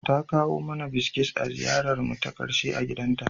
Ta kawo mana biskit a ziyararmu ta ƙarshe a gidanta.